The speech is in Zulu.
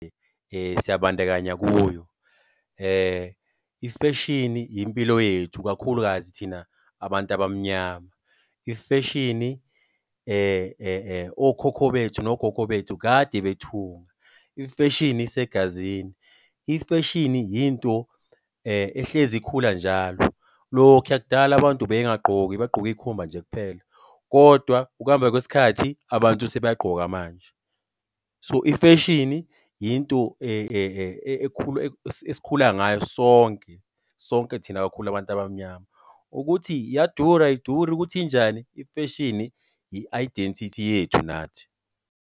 Siyabandakanya kuyo i-fashion impilo yethu, kakhulukazi thina abantu abamnyama. i-Fashion okhokho bethu nogogo bethu kade bethunga. i-Fashion isegazini. i-Fashion into ehlezi ikhula njalo. Lokhuya kudala abantu bengagqoki bagqoke iy'khumba nje kuphela, kodwa ukuhamba kwesikhathi abantu sebayagqoka manje. So i-fashion into esikhula ngayo sonke, sonke thina kakhulu abantu abamnyama. Ukuthi iyadura, ayiduri, ukuthi injani, i-fashion yi-identity yethu nathi.